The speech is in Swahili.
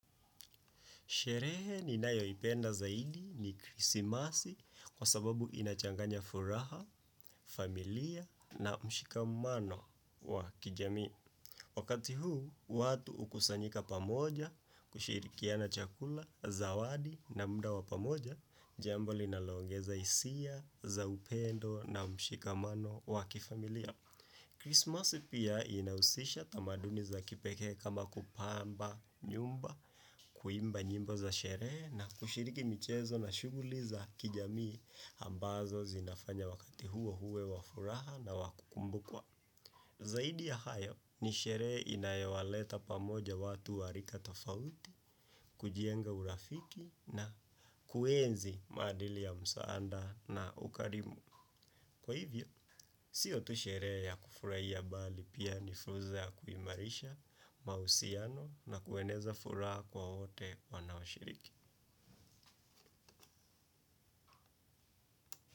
Sherehe ninayoipenda zaidi ni krisimasi, kwa sababu inachanganya furaha, familia na mshikamano wa kijamii. Wakati huu, watu hukusanyika pamoja, kushirikiana chakula, zawadi na muda wa pamoja, jambo linaloongeza hisia za upendo na mshikamano wa kifamilia. Christmas pia inahusisha tamaduni za kipekee kama kupamba nyumba, kuimba nyimbo za sherehe na kushiriki michezo na shughuli za kijamii ambazo zinafanya wakati huo uwe wa furaha na wakukumbukwa. Zaidi ya hayo ni sherehe inayowaleta pamoja watu warika tofauti, kujenga urafiki na kuenzi maadili ya msaanda na ukarimu. Kwa hivyo, siotusherehe ya kufurahia bali pia ni fursa ya kuimarisha mahusiano na kueneza furaha kwa wote wanaoshiriki.